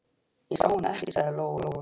Ég sá hann ekki, sagði Lóa-Lóa.